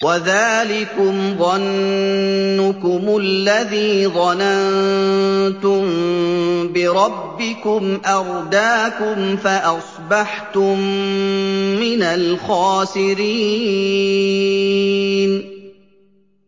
وَذَٰلِكُمْ ظَنُّكُمُ الَّذِي ظَنَنتُم بِرَبِّكُمْ أَرْدَاكُمْ فَأَصْبَحْتُم مِّنَ الْخَاسِرِينَ